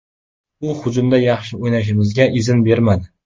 U hujumda yaxshi o‘ynashimizga izn bermadi.